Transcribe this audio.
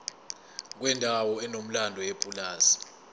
kwendawo enomlando yepulazi